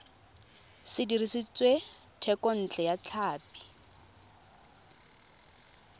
se dirisitswe thekontle ya tlhapi